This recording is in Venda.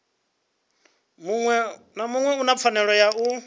muṅwe u na pfanelo ya